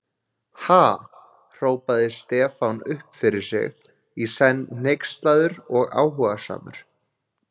Ha?! hrópaði Stefán upp fyrir sig, í senn hneykslaður og áhugasamur.